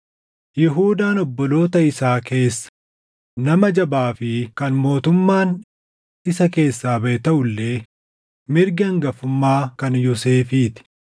Yihuudaan obboloota isaa keessa nama jabaa fi kan mootummaan isa keessaa baʼe taʼu illee mirgi hangafummaa kan Yoosefii ti.